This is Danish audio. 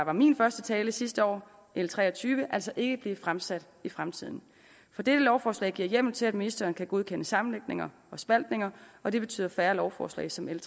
for min første tale sidste år l tre og tyve altså ikke blive fremsat i fremtiden for dette lovforslag giver hjemmel til at ministeren kan godkende sammenlægninger og spaltninger og det betyder færre lovforslag som l